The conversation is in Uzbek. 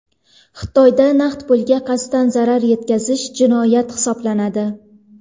Xitoyda naqd pulga qasddan zarar yetkazish jinoyat hisoblanadi.